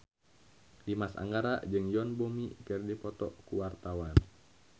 Dimas Anggara jeung Yoon Bomi keur dipoto ku wartawan